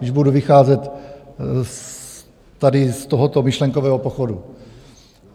Když budu vycházet tady z tohoto myšlenkového pochodu.